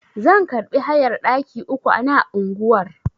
Zan karbi hayar ɗaki uku ana unguwar.